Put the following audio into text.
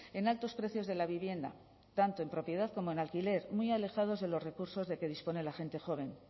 en altos precios de la vivienda tanto en propiedad como en alquiler muy alejados de los recursos de que dispone la gente joven